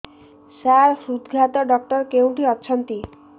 ସାର ହୃଦଘାତ ଡକ୍ଟର କେଉଁଠି ଅଛନ୍ତି